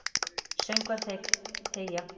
Söngvar þegja.